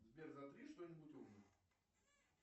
сбер затри что нибудь умное